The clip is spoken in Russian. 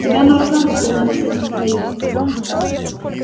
тебя на руках должны носить михаил